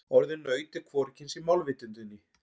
Orðið naut er hvorugkyns í málvitundinni.